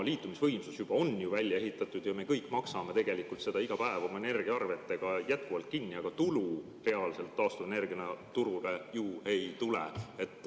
Liitumisvõimsus on välja ehitatud ja me kõik maksame tegelikult seda iga päev oma energiaarvetega kinni, aga tulu reaalselt taastuvenergiana turule ju ei tule.